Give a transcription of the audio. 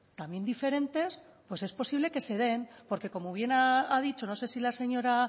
también diferentes pues es posible que se den porque como bien ha dicho no sé si la señora